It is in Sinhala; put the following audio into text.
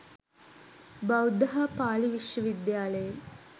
බෞද්ධ හා පාලි විශ්වවිද්‍යාලයෙන්